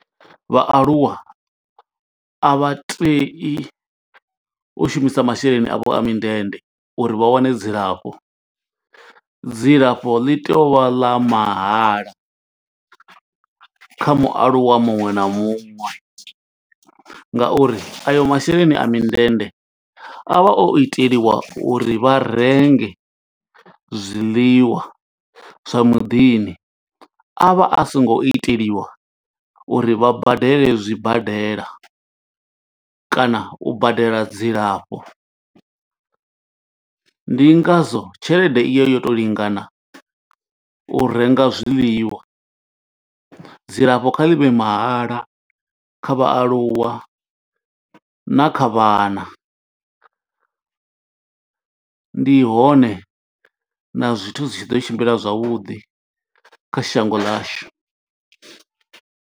Vhaaluwa a vha tei u shumisa masheleni avho a mindende uri vha wane dzilafho. Dzilafho ḽi tea u vha ḽa mahala kha mualuwa muṅwe na muṅwe, ng auri ayo masheleni a mindende a vha o itelwa uri vha renge zwiḽiwa zwa muḓini. A vha a songo iteliwa uri vha badele zwibadela, kana u badela dzilafho. Ndi ngazwo tshelede iyo yo to lingana u renga zwiḽiwa, dzilafho kha ḽi vhe mahala kha vhaaluwa na kha vhana. Ndi hone na zwithu zwi tshi ḓo tshimbila zwavhuḓi kha shango ḽashu.